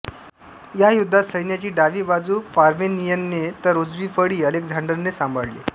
या युद्धात सैन्याची डावी बाजू पार्मेनियनने तर उजवी फळी अलेक्झांडरने सांभाळली